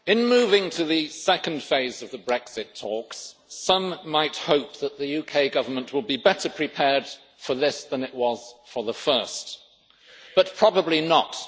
Madam President, in moving to the second phase of the Brexit talks, some might hope that the UK Government will be better prepared for this than it was for the first, but probably not.